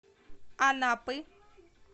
анапы